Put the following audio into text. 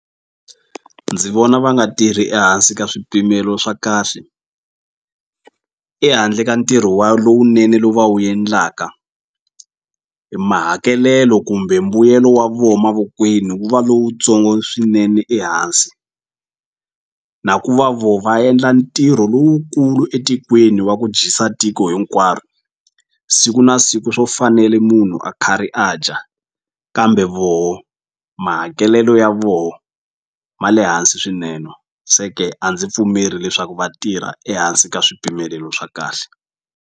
Ndzi vona va nga tirhi ehansi ka swipimelo swa kahle ehandle ka ntirho wa lowunene lowu va wu endlaka mahakelelo kumbe mbuyelo wa vo mavokweni wu va lowutsongo swinene ehansi na ku va vo va endla ntirho lowukulu etikweni wa ku dyisa tiko hinkwaro siku na siku swo fanele munhu a kha ri a dya kambe voho mahakelelo ya voho ma le hansi swinene se ke a ndzi pfumeli leswaku vatirha ehansi ka swipimelelo swa kahle.